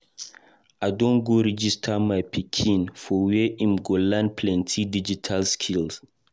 I don register my pikin for where im go learn plenty digital skill.